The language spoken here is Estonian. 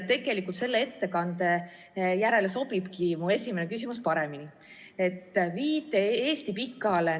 Tegelikult sobibki mu esimene küsimus selle ettekande järele paremini.